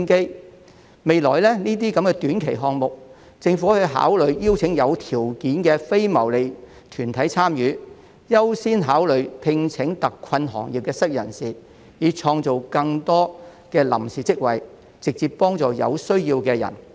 對於未來這些短期項目，政府可以考慮邀請有條件的非牟利團體參與，並優先考慮聘請特困行業的失業人士，以創造更多臨時職位直接幫助有需要的人士。